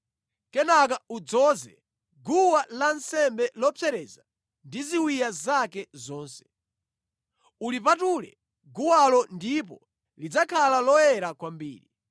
Kenaka udzoze guwa lansembe lopsereza ndi ziwiya zake zonse. Ulipatule guwalo ndipo lidzakhala loyera kwambiri.